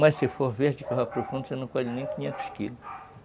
Mas se for verde que vai para o fundo, você não colhe nem quinhentos quilos.